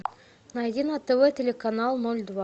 найди на тв телеканал ноль два